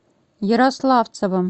ярославцевым